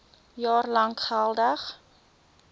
jaar lank geldig